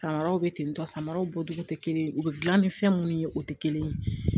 Samaraw bɛ ten tɔ samaraw bɔcogo tɛ kelen ye u bɛ dilan ni fɛn minnu ye o tɛ kelen ye